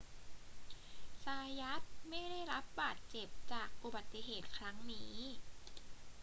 ซายัตไม่ได้รับบาดเจ็บจากอุบัติเหตุครั้งนี้